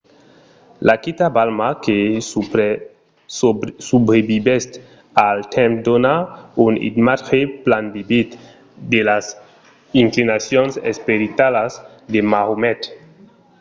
la quita balma que subrevisquèt al temps dona un imatge plan vivid de las inclinacions esperitalas de maomet